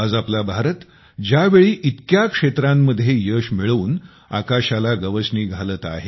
आज आपला भारत ज्यावेळी इतक्या साया क्षेत्रांमध्ये यश मिळवून आकाशाला गवसणी घालत आहेत